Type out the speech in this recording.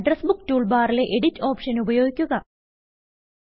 address book tool ബാറിലെ Editഓപ്ഷൻ ഉപയോഗിക്കുക